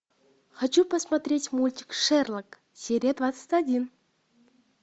хочу посмотреть мультик шерлок серия двадцать один